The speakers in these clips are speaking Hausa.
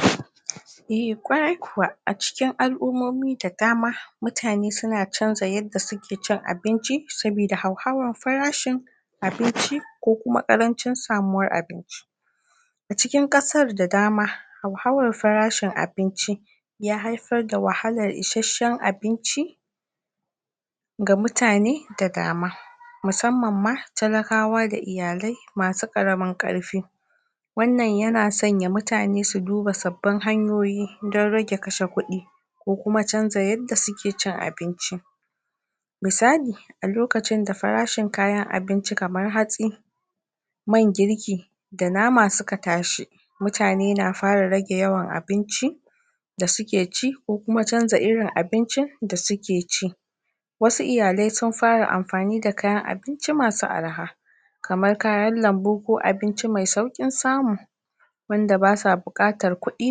? eh ƙwarai kuwa cikin al'ummomi da dama muatne suna canza yanda suke cin abinci saboda hauhawan farashi abinci ko kuma ƙarancin samuwar abinci a cikin ƙasar da dama hauhawar farashin abinci ya haifar da wahalar isasshen abinci ga mutane da dama musamman ma talakawa da iyalai masu ƙaramin ƙarfi wannan yana sanya mutane su duba sabbin hanyoyi dan rage kashe kuɗi ko kuma canza yadda suke cin abinci misali a lokacin da farashin kayan abinci kamar hatsi man girki da nama suka tashi mutane na fara rage yawan abinci da su ke ci ko kuma canza irin abincin da suke ci wasu iyalai sun fara amfani da kayan abinci masu arha kamar kayan lambu ko abinci mai sauƙin samu wanda ba sa buƙatar kuɗi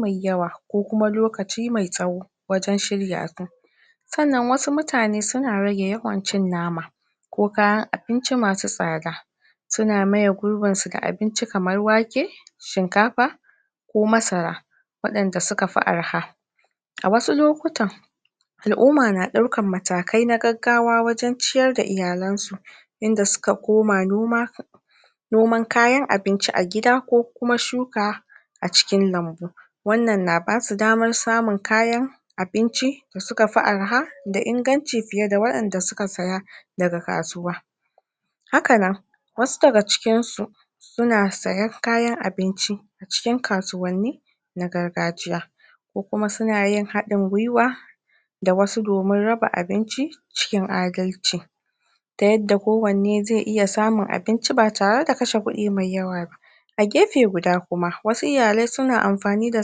mai yawa ko kuma lokaci mai tsawo wajen shirya su sannan wasu mutane suna rage yawan cin nama ko kayan abinci masu tsada suna maye gurbin su da abinci kamar wake shinkafa ko masara waɗanda suka fi arha a wasu lokutan al'umma na ɗaukar matakai na gaggawa wajen ciyar da iyalan su inda suka koma noma noman kayan abinci a gida ko kuma shuka a cikin lambu wannan na basu damar samun kayan abinci da suka fi arha da inganci fiye da waɗanda suka saya daga kasuwa hakanan wasu daga cikinsu suna sayen kayan abinci cikin kasuwanni na gargajiya ko kuma suna yin haɗin gwiwa da wasu domin raba abinci cikin adalci ta yadda kowanne zai iya samun abinci ba tare da kashe kuɗi mai yawa ba a gefe guda kuma wasu iyalai suna amfani da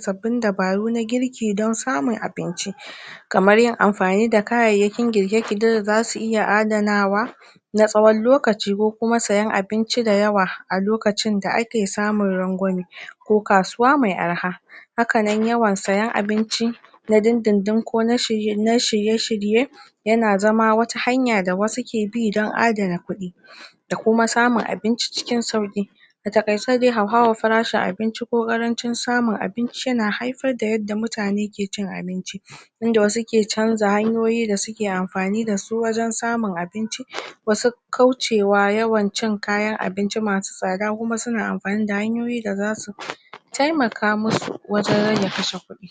sabbin dabaru na girki don samun abinci kamar yin amfani da kayayyakin girke girke da za su iya adanawa na tsawon lokaci ko kuma sayen abinci dayawa a lokacin da ake samun rangwame ko kasuwa mai arha hakanan yawan sayen abinci na dindindin ko na shirye shirye yana zama wata hanya da wasu ke bi don adana kuɗi da kuma samun abinci cikin sauƙi a taƙaice dai hauhawan farashin abinci ko ƙarancin samun abinci yana haifar da yadda mutane ke cin abinci inda wasu ke canza hanyoyi da suke amfani dasu wajen samun abinci wasu? kaucewa yawan cin kayan abinci masu tsada kuma suna amfani da hanyoyi da za su taimaka musu wajen rage kashe kuɗi